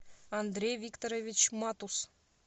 андрей викторович матус